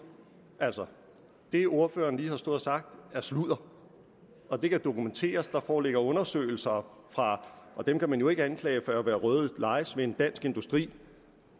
altså det ordføreren lige har stået og sagt er sludder og det kan dokumenteres der foreligger undersøgelser fra og dem kan man jo ikke anklage for at være røde lejesvende dansk industri